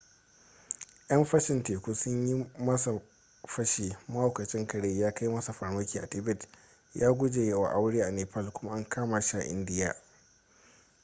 yan fashin teku sun yi masa fashi mahaukacin kare ya kai masa farmaki a tibet ya guje wa aure a nepal kuma an kama shi a india